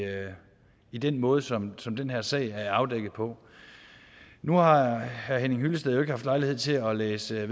i den måde som som den her sag er afdækket på nu har herre henning hyllested jo endnu ikke haft lejlighed til at læse